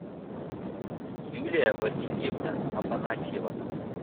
юлия васильевна афанасьева